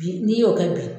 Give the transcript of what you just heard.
Bi n'i y'o kɛ bi